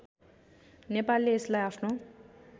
नेपालले यसलाई आफ्नो